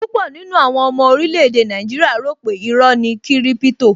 Púpọ̀ nínú àwọn ọmọ orílè-èdè Nigeria rò pe iró ni kiripito